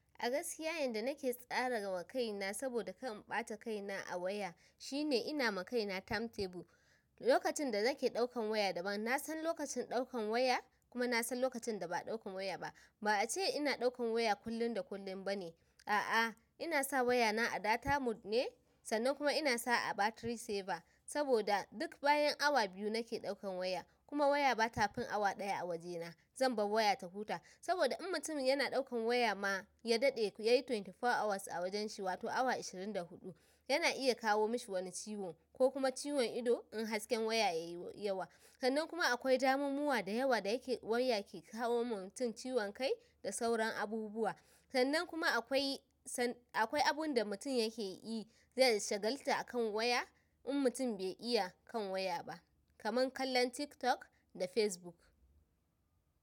A gaskiya yanda nake tsarawa kaina saboda kar in ɓata kaina a waya shine inama kaina time table. Lokacin danake ɗaukan waya daban. Nasan lokacin ɗaukan waya kuma nasan lokacin da ba ɗaukan waya ba. Ba ace ina ɗaukan waya kullum da kullum bane. A'a, inasa wayana a data mode ne, sannan kuma inasa a battery saver saboda duk bayan awa biyu nake ɗaukan waya kuma waya ba tafin awa ɗaya a wajena. Zanbar waya ta huta saboda in mutum yana ɗaukan waya ma ya daɗe yayi twenty four hours a wajenshi wato awa ashirin da huɗu, yana iya kawo mishi wani ciwo kokuma ciwon ido in hasken waya yayi yawa. Sannan kuma akwai damammuwa dayawa da waya ke kawo mutum ciwon kai da sauran abubuwa. Sannan kuma akwai abunda mutum yakeyi zai shagalata akan waya in mutum bai iya kan waya ba kaman kallon TikTok da Facebook.